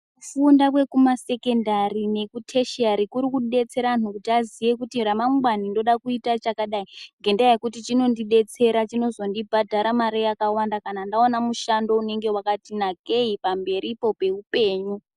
Kufunda kwekumasekendari nekutheshiari kuri kudetsera antu kuti aziye kuti ramangwani ndoda kuita chakadai, ngendaa yekuti chinondidetsera, chinozondibhadhara mare yakawanda kana ndawana mare yakawanda kana ndawana mushando wakati nakei pamberipo peupenyu.